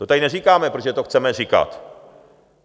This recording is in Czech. To tady neříkáme, protože to chceme říkat.